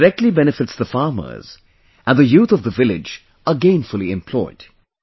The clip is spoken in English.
This directly benefits the farmers and the youth of the village are gainfully employed